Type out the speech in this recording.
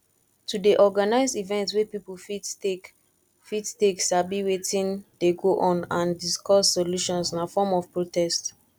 to de organise event wey pipo fit take fit take sabi wetin de go on and discuss solutions na form of protest